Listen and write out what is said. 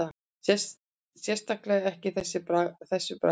Sérstaklega ekki þessu bragði